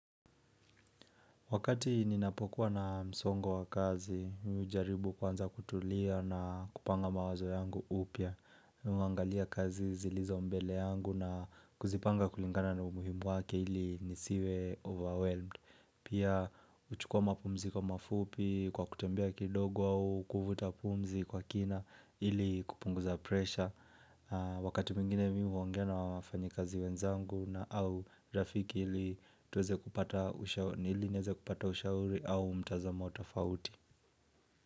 Wakati ninapokuwa na msongo wa kazi, mimi hujaribu kwanza kutulia na kupanga mawazo yangu upya. Mi huangalia kazi zilizo mbele yangu na kuzipanga kulingana na umuhimu wake ili nisiwe overwhelmed. Pia uchukua mapumziko mafupi kwa kutembea kidogo au, kuvuta pumzi kwa kina ili kupunguza pressure. Wakati mwingine mimi huongea na wafanyikazi wenzangu na au rafiki ili tuweze kupata ushauri au mtazamo tofauti.